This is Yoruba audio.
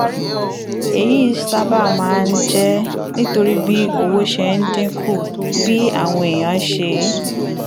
èyí sábà máa ń jẹ́ nítorí bí owó ṣe ń dín kù bí àwọn èèyàn ṣe